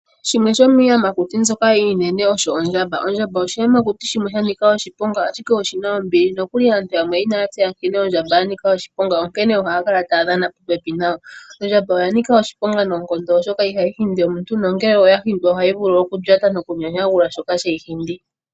Shimwe shomiiyamakuti mbyoka iinene osho ondjamba. Ondjamba oshiyamakuti shimwe shanika oshiponga ashike oshina ombili nokuli aantu yamwe inaya tseya nkene ondjamba yanika oshiponga onkene ohaya kala taya dhana popepi nayo. Ondjamba oya nika oshiponga noonkondo oshoka ihayi hindi omuntu ongele ngele yahindwa ohayi vulu okulyata nokunyanyagula shoka sheyi hindi.